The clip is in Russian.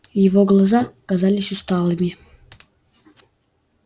его глаза казались усталыми